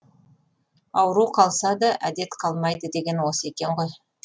ауру қалса да әдет қалмайды деген осы екен ғой